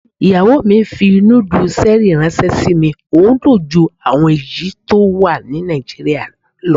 Ìyàwó mi fi núdù ṣẹ́rì ìránṣẹ́ sí mi, ohun dùn ju àwọn èyí tó wà ní Nàìjíríà lọ.